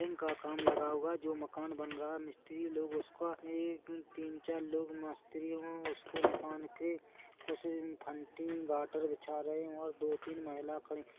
इनका काम लगा हुआ जो मकान बन रहा हैं मिस्त्रि लोग उसका एक-तीन चार लोग मिस्त्री उसको मकान के कुछ फंटी गाटर बिछा रहे हैं और दो तीन महिला खड़ी--